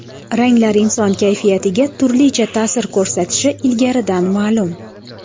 Ranglar inson kayfiyatiga turlicha ta’sir ko‘rsatishi ilgaridan ma’lum.